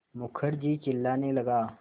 मुखर्जी चिल्लाने लगा